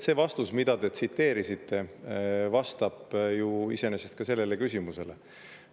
See vastus, mida te tsiteerisite, vastab ju iseenesest ka sellele küsimusele.